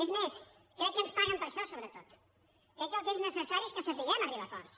és més crec que ens paguen per a això sobretot crec que el que és necessari és que sapiguem arribar a acords